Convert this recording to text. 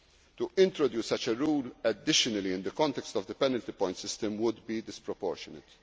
or subsidies. To introduce such a rule additionally in the context of the penalty point system would be